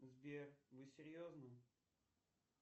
сбер вы серьезно